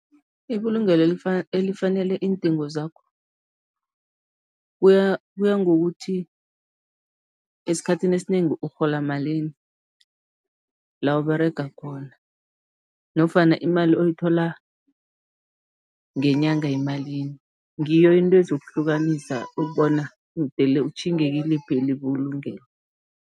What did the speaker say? Ibulungelo elifanele iindingo zakho, kuya kuya ngokuthi esikhathini esinengi urhola malini la Uberega khona nofana imali oyithola ngenyanga yimalini, ngiyo into ezokuhlukanisa ukubona mdele utjhinge kiliphi ibulungelo.